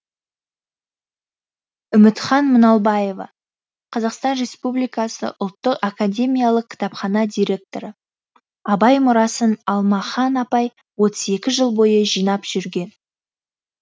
үмітхан мұналбаева қазақстан республикасы ұлттық академиялық кітапхана директоры абай мұрасын алмахан апай отыз екі жыл бойы жинап жүрген